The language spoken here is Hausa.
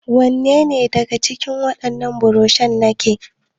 Wanne ne daga cikin wannan burushan naka?